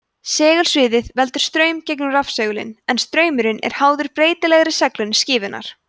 segulsviðið veldur straum gegnum rafsegulinn en straumurinn er háður breytilegri seglun skífunnar